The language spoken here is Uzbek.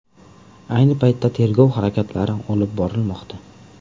Ayni paytda tergov harakatlari olib borilmoqda.